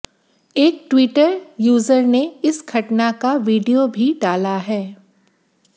एक Twitter user ने इस घटना वीडियो भी डाला है